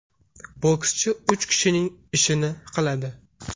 Bokschi uch kishining ishini qiladi.